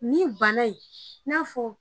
Nin bana in n'a fɔ